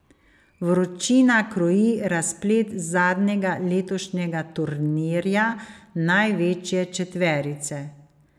Vročina kroji razplet zadnjega letošnjega turnirja največje četverice.